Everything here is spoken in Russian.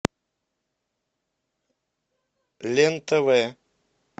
лен тв